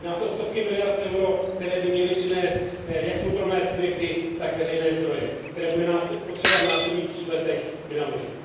Jedná se o stovky miliard eur, které by měly přinést jak soukromé subjekty, tak veřejné zdroje, které bude potřeba v následujících letech vynaložit.